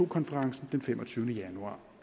konferencen den femogtyvende januar